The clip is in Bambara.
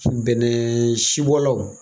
Bɛnɛ sibɔlaw.